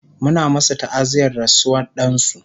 Muna masu ta'aziyar rasuwar dansu